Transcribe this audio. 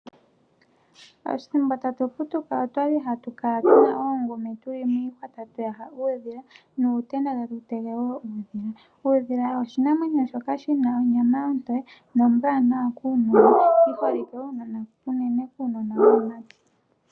Ethimbo tatu putuka otwali hatu kala tuna oongumi tuli miihwa tatu yaha uudhila, nuutenda tatu tege wo uudhila. Uudhila oshinamwenyo shoka shina onyama ontowe nombwaanawa kuunona. Yi holike unene kuunona wuumati.